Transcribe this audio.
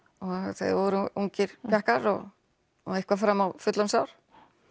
þeir voru ungir pjakkar og eitthvað fram á fullorðins ár